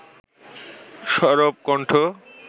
সরব কণ্ঠ